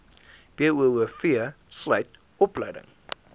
boov sluit opleiding